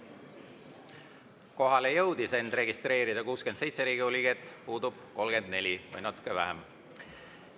Kohalolijaks jõudis end registreerida 67 Riigikogu liiget, puudub 34 või natuke vähem.